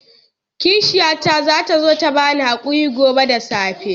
Kishiyata za ta zo ta ba ni haƙuri gobe da safe.